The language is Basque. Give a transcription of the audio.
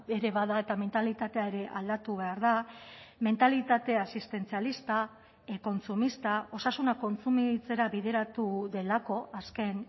ere bada eta mentalitatea ere aldatu behar da mentalitate asistentzialista kontsumista osasuna kontsumitzera bideratu delako azken